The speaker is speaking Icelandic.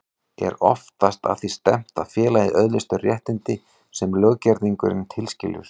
Er oftast að því stefnt að félagið öðlist þau réttindi sem löggerningurinn tilskilur.